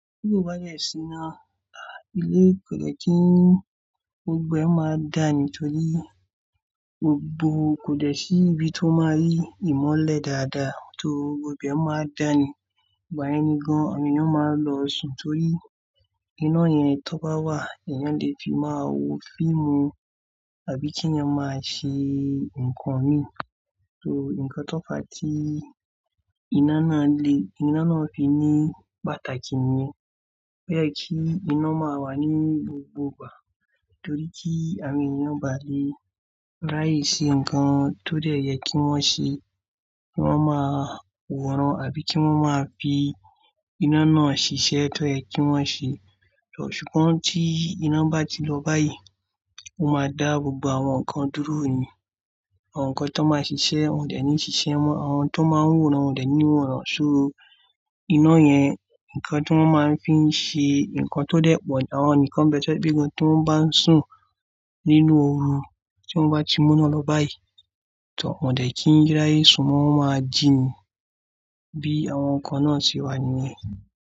Bí kò bá jẹ̀ sí iná, ilé kò jẹ́ kí gbogbo ẹ máa dáa nítorí gbogbo kò dẹ̀ sí ibi tó máa rí ìmọ́lẹ̀ dáadáa tó gbogbo ẹ máa dáa ni. Ìgba yẹn ni gan-an àwọn èèyàn máa ń lọ sùn torí iná yẹn tó bá wà, èèyàn lè fi máa wo fíìmù àbí kí èèyàn máa ṣe nǹkan mi. So nǹkan tó fà tí iná náà le, iná náà fi ní pàtàkì ni wípé kí iná máa wà ní gbogbo ìgbà torí tí àwọn èèyàn bá lè ráyè ṣe nǹkan tó dẹ̀ yẹ kí wọ́n ṣe, kí wọ́n máa wọ̀ran àbí kí wọ́n máa fi iná náà ṣiṣẹ́ tó yẹ kí wọ́n ṣe. Ṣùgbọ́n tí iná bá ti lọ báyìí, ó máa dá gbogbo àwọn nǹkan dúró ni. Àwọn nǹkan tó máa ń ṣiṣẹ́, wọn ò dẹ̀ ní ṣiṣẹ́ mọ́, àwọn tó máa ń wọ̀ran, wọn ò dẹ̀ ní wọ̀ran. So iná yẹn, nǹkan tí wọ́n máa ń fi ṣe nǹkan tó dẹ́ẹ̀pọ̀ ni àwọn ènìyàn kan bẹ́ẹ̀ ṣọ bí i gbígbọn tí wọ́n bá sùn nínú ooru tí wọ́n bá ti mú iná lọ báyìí, tor wọn ò dẹ̀ kí n ráyè sùn, wọ́n máa jinnì bí àwọn nǹkan náà ti wà ni.